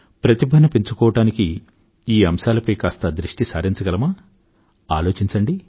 ప్రతిభను పెంచుకోవడానికి ఈ అంశాలపై కాస్త దృష్టిసారించగలమా ఆలోచించండి